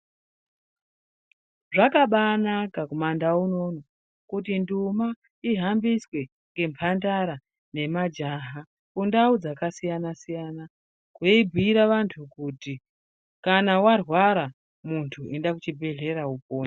Zvakabaanaka kumandau unou kuti nduma ihambiswe ngemhandara nemajaha mundau dzakasiyana siyana veibhuira vantu kuti kana warwara munhu enda kuchibhedhlera upone.